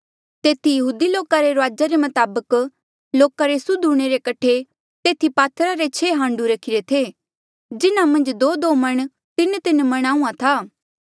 तेथी यहूदी लोका रे रुआजा रे मताबक लोका रे सुद्ध हूंणे रे कठे तेथी पात्थरा रे छेह हाण्डू रखिरे थे जिन्हा मन्झ दोदो मण तीनतीन मण आहूँआं था